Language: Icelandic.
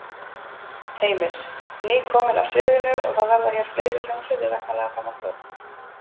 Heimir: Nýkomin af sviðinu og það verða hér fleiri hljómsveitir væntanlega fram á kvöld?